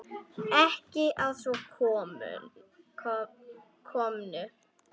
Ekki að svo komnu.